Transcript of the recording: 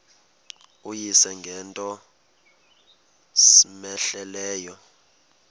uyise ngento cmehleleyo